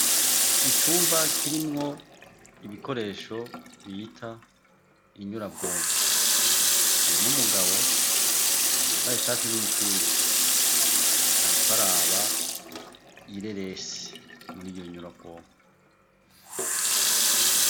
Icumba kirimwo ibikoresho bita inyurabwonko harimo mugabo yambaye ishatsi n'umupira, ariko araba ireresi muri yo nyurabwonko.